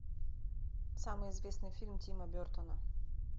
самый известный фильм тима бертона